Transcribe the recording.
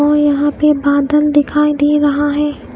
वो यहां पे बादल दिखाई दे रहा है।